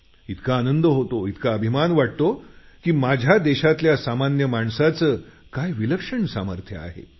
इतका आनंद होतो इतका अभिमान वाटतो की माझ्या देशातल्या सामान्य माणसाचं काय विलक्षण सामर्थ्य आहे